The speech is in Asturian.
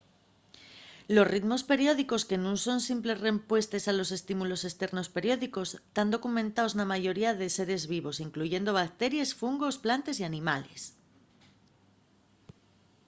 los ritmos periódicos que nun son simples rempuestes a estímulos esternos periódicos tán documentaos na mayoría de seres vivos incluyendo bacteries fungos plantes y animales